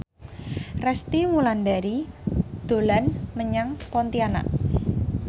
Resty Wulandari dolan menyang Pontianak